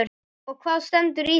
Og hvað stendur í því?